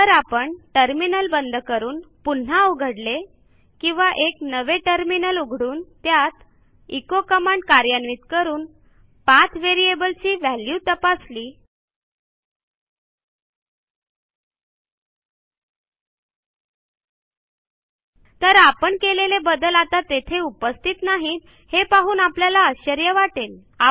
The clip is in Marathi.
जर आपण टर्मिनल बंद करून पुन्हा उघडले किंवा एक नवे टर्मिनल उघडून त्यात एचो कमांड कार्यान्वित करून पाठ व्हेरिएबल ची व्हॅल्यू तपासली तर आपण केलेले बदल आता तेथे उपस्थित नाहीत हे पाहून आपल्याला आश्चर्य वाटेल